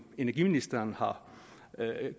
energiministeren har